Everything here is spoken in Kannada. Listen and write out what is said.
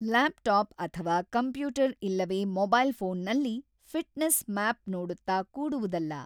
ಲ್ಯಾಪ್‌ಟಾಪ್ ಅಥವಾ ಕಂಪ್ಯೂಟರ್ ಇಲ್ಲವೆ ಮೊಬೈಲ್ ಫೋನ್‌ನಲ್ಲಿ ಫಿಟ್‌ನೆಸ್ ಮ್ಯಾಪ್ ನೋಡುತ್ತ ಕೂಡುವುದಲ್ಲ.